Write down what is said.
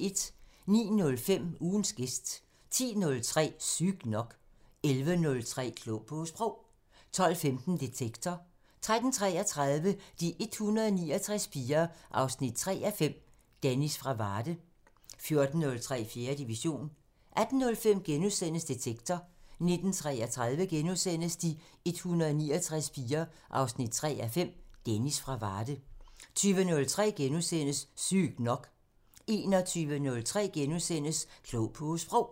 09:05: Ugens gæst 10:03: Sygt nok 11:03: Klog på Sprog 12:15: Detektor 13:33: De 169 piger 3:5 – Dennis fra Varde 14:03: 4. division 18:05: Detektor * 19:33: De 169 piger 3:5 – Dennis fra Varde * 20:03: Sygt nok * 21:03: Klog på Sprog *